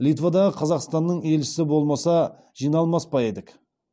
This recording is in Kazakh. литвадағы қазақстанның елші болмаса жиналмас па едік